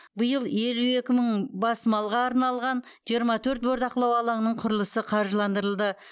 биыл елу екі мың бас малға арналған жиырма төрт бордақылау алаңының құрылысы қаржыландырылды